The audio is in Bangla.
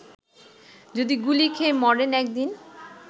যদি গুলি খেয়ে মরেন একদিন